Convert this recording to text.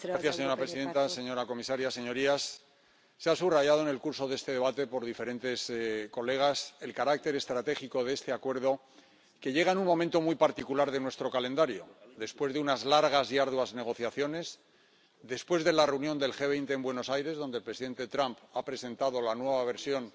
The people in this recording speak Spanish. Señora presidenta, señora comisaria, señorías, se ha subrayado en el curso de este debate por diferentes colegas el carácter estratégico de este Acuerdo, que llega en un momento muy particular de nuestro calendario, después de unas largas y arduas negociaciones, después de la reunión del G-20 en Buenos Aires, donde el presidente Trump ha presentado la nueva versión